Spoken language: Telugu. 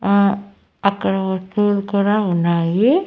ఆ అక్కడ కూడా ఉన్నాయి.